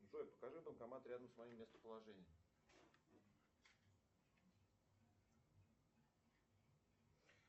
джой покажи банкомат рядом с моим местоположением